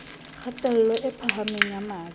kgatello e phahameng ya madi